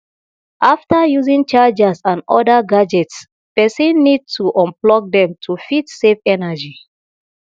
after using chargers and oda gadgets person need to unplug them to fit save energy